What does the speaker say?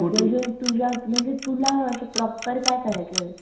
अजून तुझ्या म्हणजे तुला असं प्रॉपर काय करायचंय.